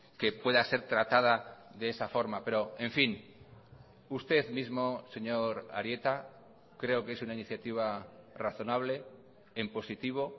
que pueda ser tratada de esa forma pero en fin usted mismo señor arieta creo que es una iniciativa razonable en positivo